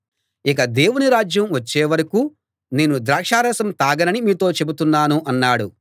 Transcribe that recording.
ఇక దేవుని రాజ్యం వచ్చే వరకూ నేను ద్రాక్షారసం తాగనని మీతో చెబుతున్నాను అన్నాడు